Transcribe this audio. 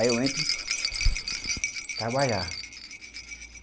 Aí eu entro trabalhar.